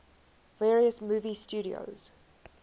various movie studios